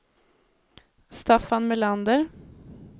Staffan Melander